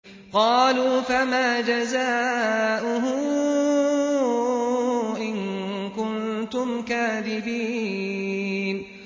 قَالُوا فَمَا جَزَاؤُهُ إِن كُنتُمْ كَاذِبِينَ